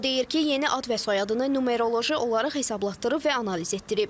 O deyir ki, yeni ad və soyadını numeroloji olaraq hesablatdırıb və analiz etdirib.